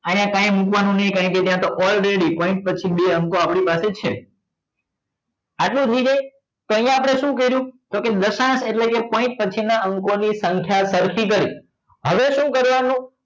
અહિયાં કાઈ મુકવા નું નહિ કારણ કે ત્યાં તો already પછી બે અંકો આપડી પાસે છે આટલું થઇ જાય તો અહિયાં આપડે શું કર્યું તો કે દશાંસ એટલે કે point પછી ના અંકો ની સંખ્યા ચલતી કરી હવે શું કરવા નું